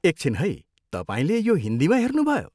एकछिन है, तपाईँले यो हिन्दीमा हेर्नुभयो?